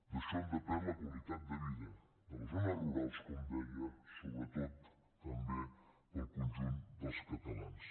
d’això en depèn la qualitat de vida de les zones rurals com deia sobretot també per al conjunt dels catalans